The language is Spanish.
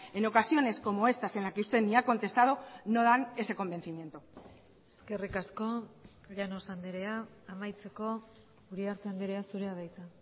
en ocasiones como estas en la que usted ni ha contestado no dan ese convencimiento eskerrik asko llanos andrea amaitzeko uriarte andrea zurea da hitza